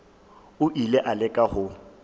o ile a leka go